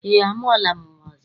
Eé, amụọla m nnwa ọzọ.